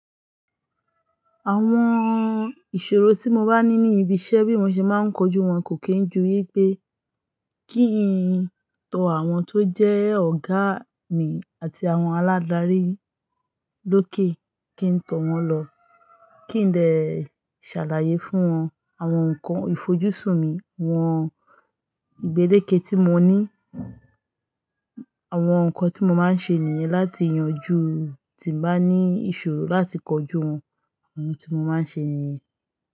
Àwọn ìṣòro tí mo bá ní ní ibi iṣẹ́ bí mo ṣe máa ń kojú wọn kò kí ń ju wípé kí n tọ àwọn tó jẹ́ ọ̀gá mi àti àwọn aládarí lókè, kí n tọ̀ wọ́n lọ. Kí n dè ṣàlàyé fún wọn àwọn ǹkan ìfojúsùn mi, wọn ìgbélékè tí mo ní, àwọn ǹkan tí mo máa ń ṣe nìyẹn láti yanjú tí n bá ní ìṣòro láti kojú wọn. Ntí mo máa ń ṣe nìyẹn.